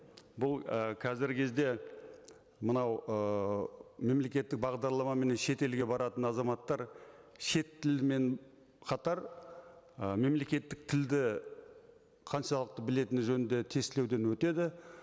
бұл і қазіргі кезде мынау ыыы мемлекеттік бағдарламамен шетелге баратын азаматтар шет тілімен қатар ы мемлекеттік тілді қаншалықты білетіні жөнінде тестілеуден өтеді